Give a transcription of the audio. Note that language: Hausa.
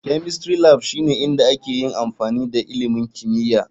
Chemistry Lab shine inda ake yin amfani da ilimin kimiyya.